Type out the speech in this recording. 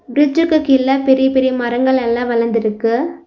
ப்ரிட்ஜுக்கு கீழ பெரிய பெரிய மரங்கள்லெல்லா வளந்துருக்கு.